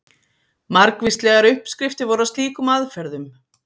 Margvíslegar uppskriftir voru að slíkum aðferðum.